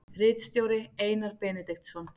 Ritstjóri Einar Benediktsson.